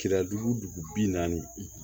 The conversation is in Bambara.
Kira dugu dugu bi naani